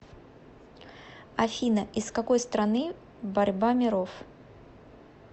афина из какой страны борьба миров